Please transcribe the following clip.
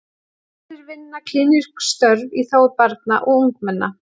Aðrir vinna klínísk störf í þágu barna og ungmenna.